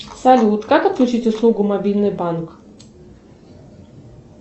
салют как отключить услугу мобильный банк